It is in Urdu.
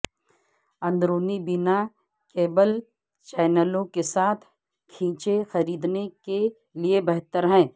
اندرونی بنا کیبل چینلوں کے ساتھ کھینچیں خریدنے کے لئے بہتر ہے